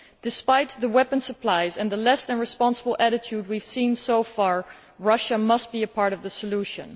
Despite the weapon supplies and the less than responsible attitude we have seen so far, Russia must be part of the solution.